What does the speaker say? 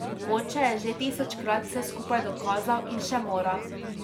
Oče je že tisočkrat vse skupaj dokazal in še mora.